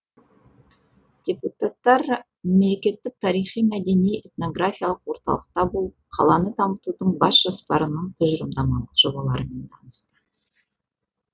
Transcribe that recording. депутаттар мемлекеттік тарихи мәдени этнографиялық орталықта болып қаланы дамытудың бас жоспарының тұжырымдамалық жобаларымен танысты